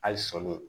Hali sɔli